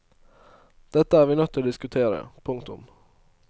Dette er vi nødt til å diskutere. punktum